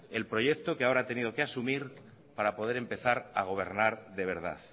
el proyecto que ahora ha tenido que asumir para poder empezar a gobernar de verdad